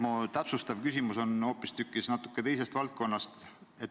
Aga mu täpsustav küsimus on hoopistükkis teisest valdkonnast.